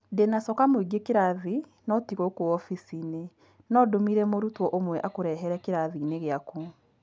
ndĩna coka mũingĩ kĩrathi no tigũkũ obicinĩ, no ndũmire mũrutwo ũmwe akũrehere kĩrathiinĩ gĩaku